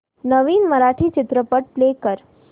नवीन मराठी चित्रपट प्ले कर